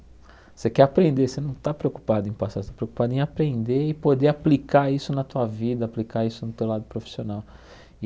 Você quer aprender, você não está preocupado em passar, você está preocupado em aprender e poder aplicar isso na tua vida, aplicar isso no teu lado profissional.